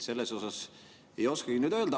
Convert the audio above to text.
Selle kohta ei oskagi nüüd midagi öelda.